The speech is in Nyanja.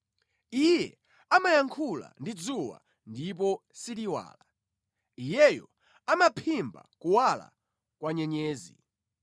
Iye amayankhula ndi dzuwa ndipo siliwala; Iyeyo amaphimba kuwala kwa nyenyezi.